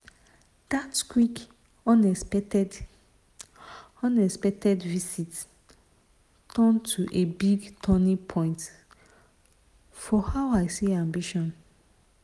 that quick unexpected unexpected visit turn to a big turning point for how i see ambition.